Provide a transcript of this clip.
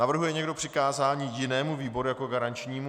Navrhuje někdo přikázání jinému výboru jako garančnímu?